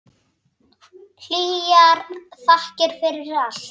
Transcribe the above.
Hlýjar þakkir fyrir allt.